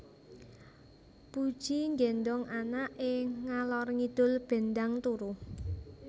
Puji nggendong anak e ngalor ngidul ben ndang turu